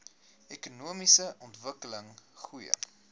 ekonomiese ontwikkeling goeie